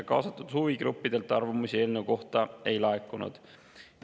Kaasatud huvigruppidelt arvamusi eelnõu kohta ei laekunud.